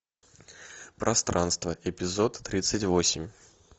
пространство эпизод тридцать восемь